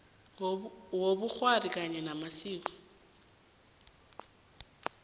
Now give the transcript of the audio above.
wobukghwari kanye namasiko